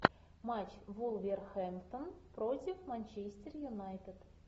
матч вулверхэмптон против манчестер юнайтед